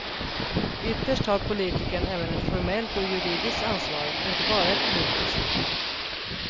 Ytterst har politikern även ett formellt och juridiskt ansvar, inte bara ett politiskt.